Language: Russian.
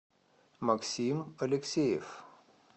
максим алексеев